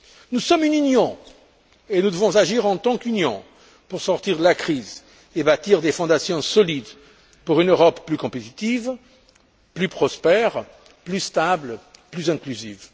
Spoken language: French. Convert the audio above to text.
Nous sommes une Union et nous devons agir en tant qu'Union pour sortir de la crise et bâtir des fondations solides pour une Europe plus compétitive, plus prospère, plus stable, plus inclusive.